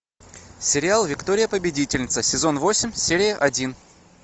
сериал виктория победительница сезон восемь серия один